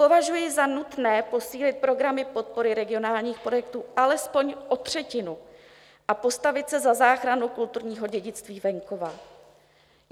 Považuji za nutné posílit programy podpory regionálních projektů alespoň o třetinu a postavit se za záchranu kulturního dědictví venkova.